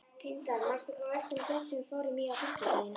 Tindar, manstu hvað verslunin hét sem við fórum í á fimmtudaginn?